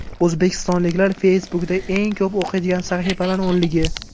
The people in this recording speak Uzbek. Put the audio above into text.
O‘zbekistonliklar Facebook’da eng ko‘p o‘qiydigan sahifalar o‘nligi.